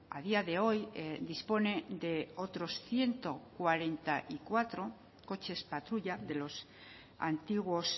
a día de hoy dispone de otros ciento cuarenta y cuatro coches patrulla de los antiguos